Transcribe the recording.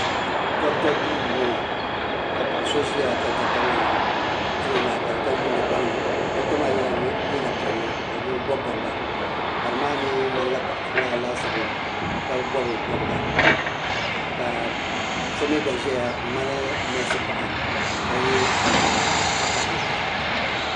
Dɔkta duu n bɔŋo ka paɣa so ʒiya ka dɔkta maa tiri o lahabali ka yuuni gbaŋ ni dɔkta maa yɛla liiga piɛlli o bi bɔbi bɔbga bari maa mi ŋmani la paɣa puu lana laasabu ka bɔbi bɔbga ka so mi gba ʒɛya n ŋmani nɛɛsi paɣa ka yɛ liiga vakahili.